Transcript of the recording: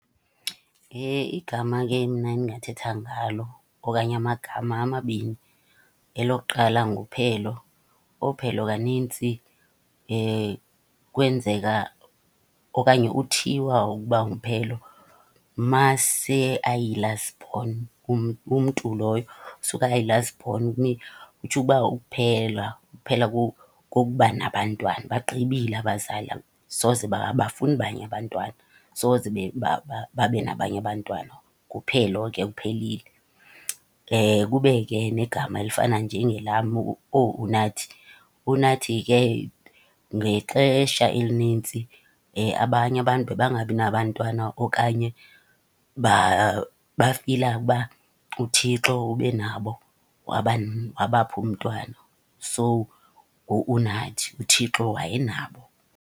Igama ke mna endingathetha ngalo okanye amagama amabini. Elokuqala nguPhelo, ooPhelo kanintsi kwenzeka okanye uthiywa ukuba unguPhelo mase ayi-last born, umntu loyo suka ayi-last born. Kutsho ukuba ukuphela, ukuphela kokuba nabantwana. Bagqibile abazali, asoze , abafuni abanye abantwana, soze babe nabanye abantwana. NguPhelo ke, kuphelile. Kube ke negama elifana njengelam, ooUnathi. Unathi ke ngexesha elinintsi abanye abantu bebangabi nabantwana okanye bafila ukuba uThixo ube nabo wabapha umntwana. So ngu-Unathi, uThixo wayenabo.